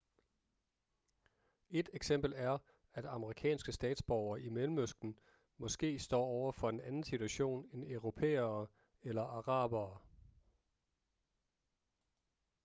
ét eksempel er at amerikanske statsborgere i mellemøsten måske står over for en anden situation end europæere eller arabere